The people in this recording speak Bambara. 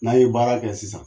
N'a ye baara kɛ sisan